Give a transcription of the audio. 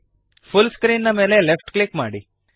full screen ನ ಮೇಲೆ left click ಮಾಡಿರಿ